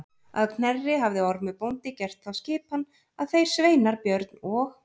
Að Knerri hafði Ormur bóndi gert þá skipan að þeir sveinar Björn og